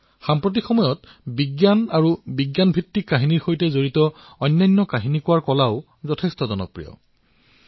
আজিকালি বিজ্ঞান আৰু কল্পবিজ্ঞানৰ সৈতে জড়িত কাহিনী আৰু কাহিনী কোৱাৰ ৰীতি লোকপ্ৰিয় হবলৈ ধৰিছে